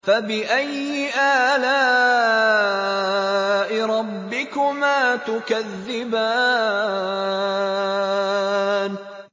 فَبِأَيِّ آلَاءِ رَبِّكُمَا تُكَذِّبَانِ